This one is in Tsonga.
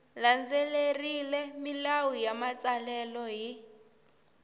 landzelerile milawu ya matsalelo hi